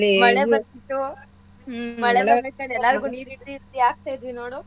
ಮಳೆ ಬರ್ತಿತ್ತು ಎಲ್ಲರ್ಗೂ ನೀರ್ ಹಿಡ್ದಿ ಹಿಡ್ದಿ ಹಾಕ್ತಾಯಿದ್ವಿ ನೋಡು.